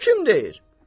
Bunu kim deyir?